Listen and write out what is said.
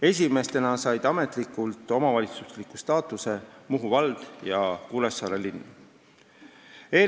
Esimestena said ametlikult omavalitsuse staatuse Muhu vald ja Kuressaare linn.